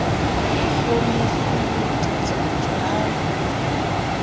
ho hlometswe ho tlatlaptjwa ha